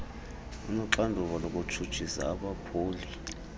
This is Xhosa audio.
unoxanduva lokutshutshisa abaphuli